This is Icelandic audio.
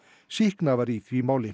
sýknað var í því máli